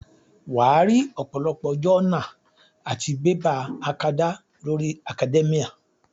Wàá rí ọ̀pọ̀lọpọ̀ jọ́nà àti bébà akadá lórí Academia